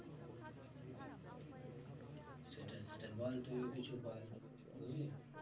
সেটাই সেটাই বল তুইও কিছু বল বুঝলি?